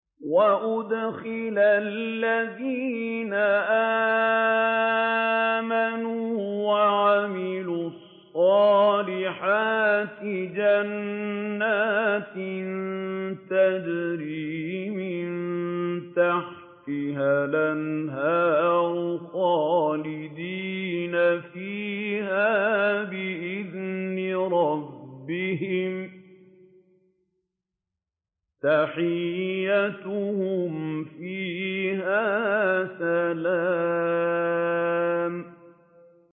وَأُدْخِلَ الَّذِينَ آمَنُوا وَعَمِلُوا الصَّالِحَاتِ جَنَّاتٍ تَجْرِي مِن تَحْتِهَا الْأَنْهَارُ خَالِدِينَ فِيهَا بِإِذْنِ رَبِّهِمْ ۖ تَحِيَّتُهُمْ فِيهَا سَلَامٌ